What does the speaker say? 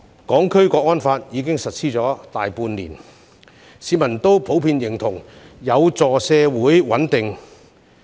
《香港國安法》已經實施大半年，市民普遍認同有助社會穩定。